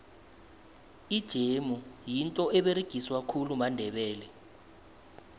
ijemu yinto eberegiswa khulu mandebele